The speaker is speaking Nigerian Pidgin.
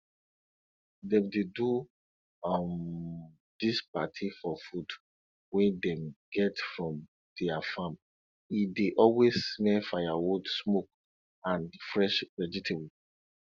dem dey do um dis party for food wey dem get from their farm e dey always smell firewood smoke and fresh vegetable